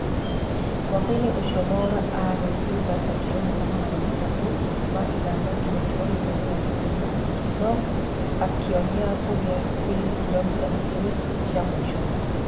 Mũkwa-inĩ ucio Mwaura ararĩ thutha ta kilomita magana matatũ ma ithano ginya kiromita mĩrongo ĩna no akĩũnia kũgea riri kilomita igĩrĩ cia mũico.